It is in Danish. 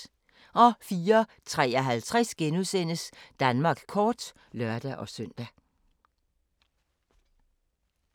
04:53: Danmark kort *(lør-søn)